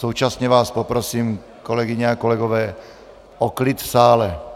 Současně vás poprosím, kolegyně a kolegové, o klid v sále.